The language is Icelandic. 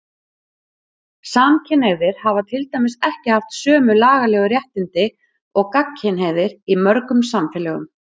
Samkynhneigðir hafa til dæmis ekki haft sömu lagalegu réttindi og gagnkynhneigðir í mörgum samfélögum.